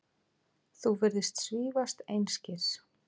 Þú virðist svífast einskis.